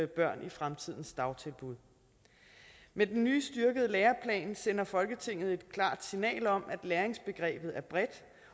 børn i fremtidens dagtilbud med den nye styrkede læreplan sender folketinget et klart signal om at læringsbegrebet er bredt